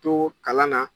To kalan na